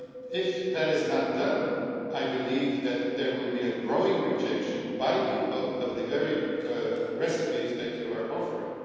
If that is not done, I believe that there will be a growing rejection by people of the very recipes that you are offering.